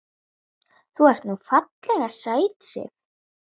Þú ert nú ferlega sæt, Sif.